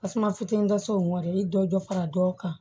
Tasuma fitinin dɔ se mɔni dɔ fara dɔw kan